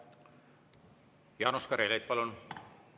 Jaanus Karilaid, palun!